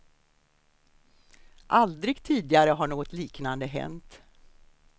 Aldrig tidigare har något liknande hänt.